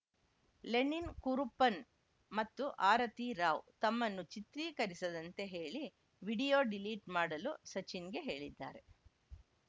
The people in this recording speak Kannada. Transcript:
ಲೆನಿನ್‌ ಕುರುಪ್ಪನ್‌ ಮತ್ತು ಆರತಿ ರಾವ್‌ ತಮ್ಮನ್ನು ಚಿತ್ರೀಕರಿಸದಂತೆ ಹೇಳಿ ವಿಡಿಯೋ ಡಿಲೀಟ್‌ ಮಾಡಲು ಸಚಿನ್‌ಗೆ ಹೇಳಿದ್ದಾರೆ